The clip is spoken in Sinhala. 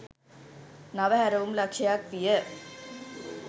නව හැරවුම් ලක්ෂ්‍යයක් විය.